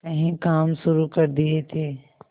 कई काम शुरू कर दिए थे